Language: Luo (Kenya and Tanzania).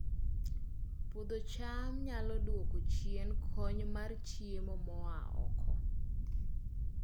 Puodho cham nyalo duoko chien kony mar chiemo moa oko